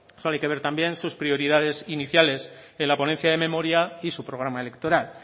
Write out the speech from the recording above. solo hay que ver también sus prioridades iniciales en la ponencia de memoria y su programa electoral